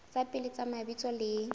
tsa pele tsa mabitso le